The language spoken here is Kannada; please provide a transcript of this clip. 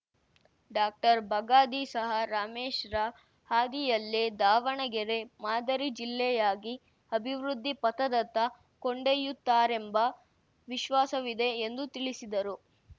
ಡಾಕ್ಟರ್ಬಗಾದಿ ಸಹ ರಮೇಶ್‌ರ ಹಾದಿಯಲ್ಲೇ ದಾವಣಗೆರೆ ಮಾದರಿ ಜಿಲ್ಲೆಯಾಗಿ ಅಭಿವೃದ್ಧಿ ಪಥದತ್ತ ಕೊಂಡೊಯ್ಯುತ್ತಾರೆಂಬ ವಿಶ್ವಾಸವಿದೆ ಎಂದು ತಿಳಿಸಿದರು